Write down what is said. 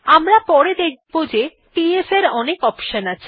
আমরা পরে দেখব যে পিএস এর অনেক অপশন আছে